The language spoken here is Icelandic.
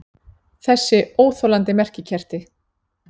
Þessi óþolandi merkikerti!